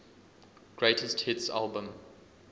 greatest hits album